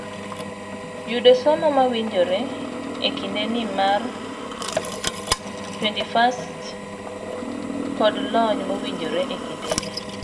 Yudo somo mowinjore ekindeni mar 21st kod lony mowinjore ekindeni.